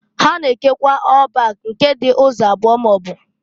Ha na-ekekwa ọl bak nke dị ụzọ abụo maọbụ.